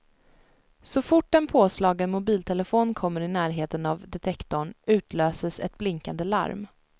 Så fort en påslagen mobiltelefon kommer i närheten av detektorn utlöses ett blinkande larm.